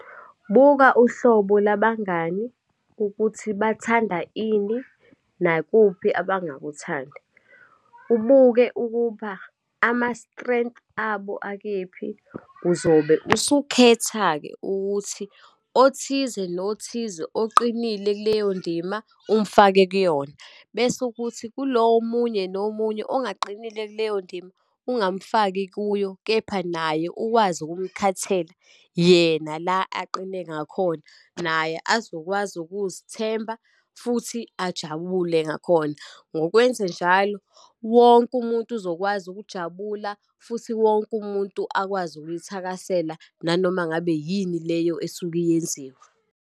Buka uhlobo labangani ukuthi bathanda ini, nakuphi abakuthandi. Ubuke ukuba ama-strength abo akephi, uzobe usukhetha-ke ukuthi othize nothize oqinile kuleyo ndima, umfake kuyona, bese ukuthi kulo omunye nomunye ongaqinile kuleyo ndima, ungamfaki kuyo, kepha naye ukwazi ukumkhathela yena la aqine ngakhona naye azokwazi ukuzithemba, futhi ajabule ngakhona. Ngokwenzenjalo, wonke umuntu uzokwazi ukujabula, futhi wonke umuntu akwazi ukuyithakasela nanoma ngabe yini leyo esuke iyenziwa.